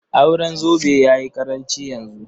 Auren zobe ya yi ƙaranci yanzu.